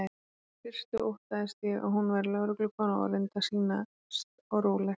Í fyrstu óttaðist ég að hún væri lögreglukona og reyndi að sýnast róleg.